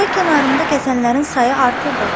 Çay kənarında gəzənlərin sayı artırdı.